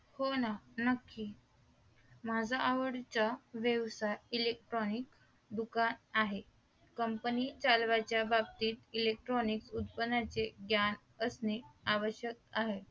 हो ना नक्की माझ्या एवढीच व्यवसाय electric दुकान आहे Company चालवण्याच्या बाबतीत electric उत्पादनाचे ज्ञान असणे आवश्यक आहे